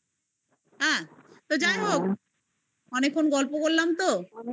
তা যাই হোক, অনেকদিন গল্প করলাম তো